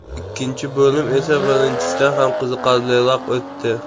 Ikkinchi bo‘lim esa birinchisidan ham qiziqarliroq o‘tdi.